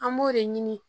An b'o de ɲini